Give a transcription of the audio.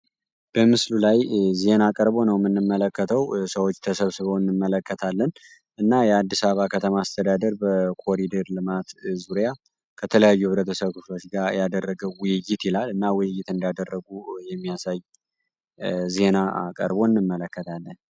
በምስሉ ላይ ዜና ቀርቦ ነው የምንመለከተው ሰዎች ተሰብስበው እንመለከታለን። እና የአዲስ አበባ ከተማ አስተዳደር በኮሪደር ልማት ዙሪያ ከተለያዩ ህብረተሰቦች ጋር ያደረገው ውይይት ይላል እና ውይይት እንዳደረጉ የሚያሳይ ዜና ቀርቦ እንመለከታለን